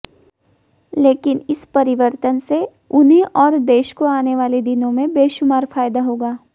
लेकिन इस परिवर्तन से उन्हें और देश को आने वाले दिनों में बेशुमार फायदा होगा